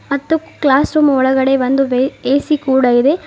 ಮತ್ತೆ classroom ಒಳಗಡೆ ಒಂದು ಎ_ಸಿ ಕೂಡ ಇದೆ.